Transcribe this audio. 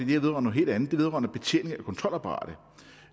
håber